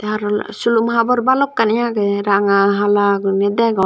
te aro silum habor bhalokkani agey ranga hala guriney degong.